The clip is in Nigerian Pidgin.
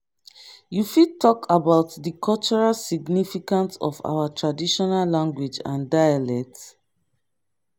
you fit talk about di cultural significance of our traditional language and dialect?